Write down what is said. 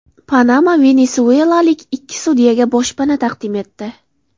Panama venesuelalik ikki sudyaga boshpana taqdim etdi.